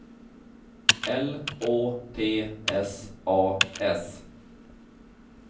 L Å T S A S